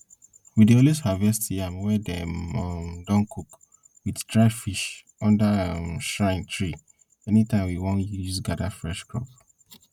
we dey always harvest yam wey dem um don cook with dry fish under um shrine tree anytime we wan use gather fresh crops